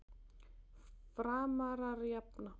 Framarar jafna.